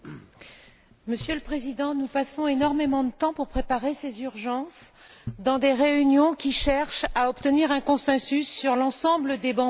Monsieur le Président, nous passons énormément de temps à préparer ces urgences dans des réunions qui cherchent à obtenir un consensus sur l'ensemble des bancs politiques.